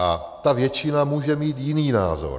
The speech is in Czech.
A ta většina může mít jiný názor.